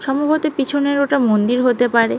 সম্ভবত পেছনের ওটা মন্দির হতে পারে।